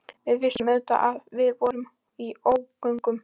Við vissum auðvitað að við vorum í ógöngum.